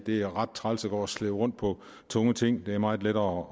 det er ret træls at gå og slæbe rundt på tunge ting det er meget lettere